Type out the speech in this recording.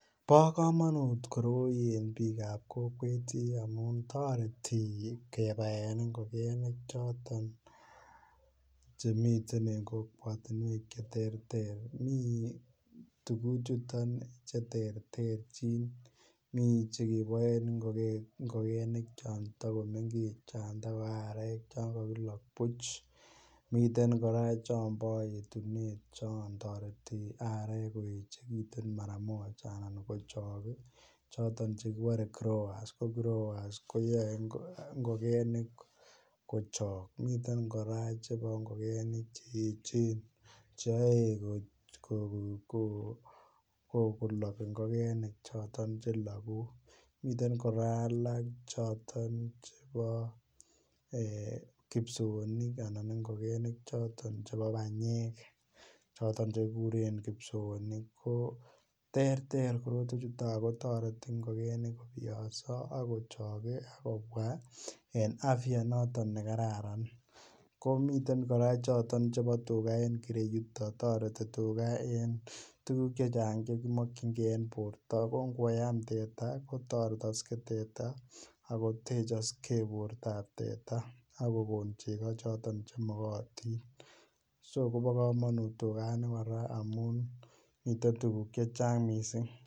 Bo komonut koroi en bik ab kokwet amun toreti kebaen ngokenik choton Che miten en kokwatinwek che terter mi tuguchoto Che terterchin mi Che keboen ngokenik chon takomengech chon tako arek chon kagilok buch miten kora chon bo yetunet chon toreti arek koechekitun mara moja anan kochok choton Che kibore growers, growers koyoe ngokenik kochok miten kora chebo ngokenik Che echen Che yaei kolok ngokenik choton Che logu miten kora alak choton chebo kipsoonik anan ngokenik choton chebo banyek choton Che kiguren kipsoonik ko terter korotwechuton ago toreti ngokenik kobiyoso ak kochok kobwa en afya noton ne kararan ko miten kora choton chebo tuga en ireyuton toreti tuga en tuguk Che Chang Che ki mokyingei en borto ko ngoam teta ko toretokse teta ak kotechokse bortab teta ak kogon chego choton Che magotin so kobo kamanut tugani kora amun miten tuguk Che Chang mising